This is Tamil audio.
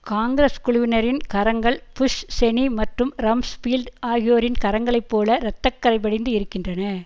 காங்கிரஸ் குழுவினரின் கரங்கள் புஷ் செனி மற்றும் ரம்ஸ் பீல்ட் ஆகியோரின் கரங்களைப் போல இரத்த கறைபடிந்து இருக்கின்றன